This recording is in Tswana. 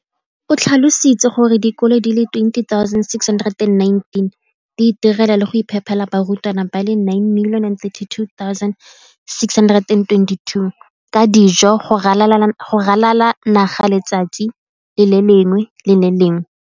O tlhalositse gore dikolo di le 20 619 di itirela le go iphepela barutwana ba le 9 032 622 ka dijo go ralala naga letsatsi le lengwe le le lengwe.